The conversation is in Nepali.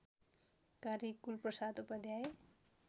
कार्य कुलप्रसाद उपाध्याय